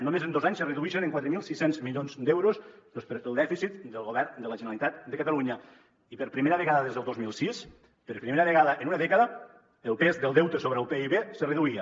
només en dos anys es redueix en quatre mil sis cents milions d’euros el dèficit del govern de la generalitat de catalunya i per primera vegada des del dos mil sis per primera vegada en una dècada el pes del deute sobre el pib se reduïa